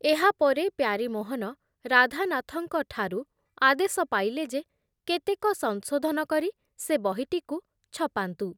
ଏହା ପରେ ପ୍ୟାରୀମୋହନ ରାଧାନାଥଙ୍କ ଠାରୁ ଆଦେଶ ପାଇଲେ ଯେ କେତେକ ସଂଶୋଧନ କରି ସେ ବହିଟିକୁ ଛପାନ୍ତୁ ।